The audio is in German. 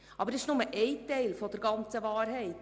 Aber das ist nur ein Teil der ganzen Wahrheit.